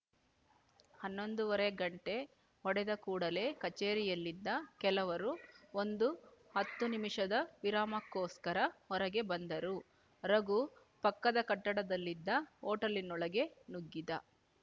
ಹನ್ನೊಂದೂವರೆ ಗಂಟೆ ಹೊಡೆದ ಕೂಡಲೇ ಕಛೇರಿಯಲ್ಲಿದ್ದ ಕೆಲವರು ಒಂದು ಹತ್ತು ನಿಮಿಷದ ವಿರಾಮಕ್ಕೋಸ್ಕರ ಹೊರಗೆ ಬಂದರು ರಘು ಪಕ್ಕದ ಕಟ್ಟಡದಲ್ಲಿದ್ದ ಹೊಟೇಲಿನೊಳಗೆ ನುಗ್ಗಿದ